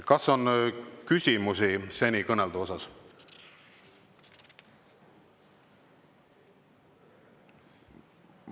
Kas on küsimusi seni kõneldu kohta?